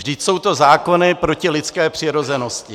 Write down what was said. Vždyť jsou to zákony proti lidské přirozenosti.